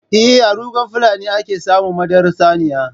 Eh, a rugan fulani a ke samun madarar saniya.